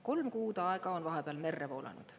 Kolm kuud aega on vahepeal merre voolanud.